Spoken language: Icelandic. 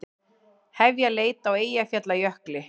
Hefja leit á Eyjafjallajökli